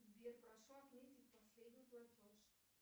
сбер прошу отметить последний платеж